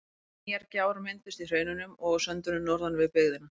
Nýjar gjár mynduðust í hraununum og á söndunum norðan við byggðina.